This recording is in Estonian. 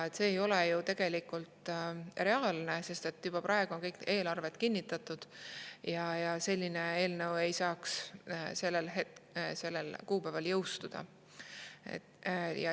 See ei ole tegelikult reaalne, sest juba praegu on kõik eelarved kinnitatud ja selline eelnõu ei saaks sellel kuupäeval jõustuda.